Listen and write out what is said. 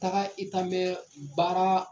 Taga i tan mɛ baara